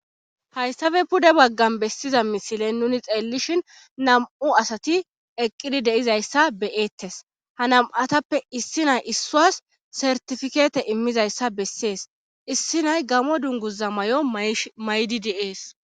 Hayssafe pude baggan bessiza misilen nuni xeellishin nam,u asati eqqidi deizayssa beyeettes ha nam7atappe issi nay issuas sertifikeete immizayssa bessees issi nay gamo dunguza may7o maydidees